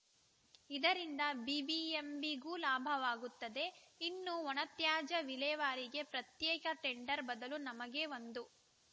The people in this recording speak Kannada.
ಇದರಿಂದ ಬಿಬಿಎಂಬಿ ಗೂ ಲಾಭವಾಗುತ್ತದೆ ಇನ್ನು ಒಣ ತ್ಯಾಜ್ಯ ವಿಲೇವಾರಿಗೆ ಪ್ರತ್ಯೇಕ ಟೆಂಡರ್‌ ಬದಲು ನಮಗೇ ಒಂದೂ